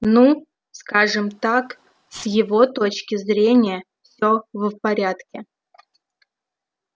ну скажем так с его точки зрения все в порядке